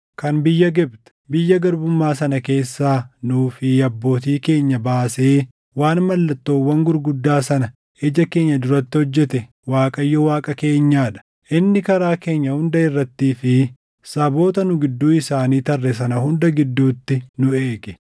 Kan biyya Gibxi, biyya garbummaa sana keessaa nuu fi abbootii keenya baasee waan mallattoowwan gurguddaa sana ija keenya duratti hojjete Waaqayyo Waaqa keenyaa dha. Inni karaa keenya hunda irrattii fi saboota nu gidduu isaanii tarre sana hunda gidduutti nu eege.